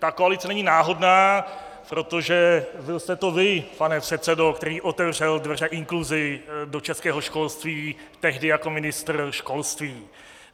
Ta koalice není náhodná, protože byl jste to vy, pane předsedo , který otevřel dveře inkluzi do českého školství tehdy jako ministr školství.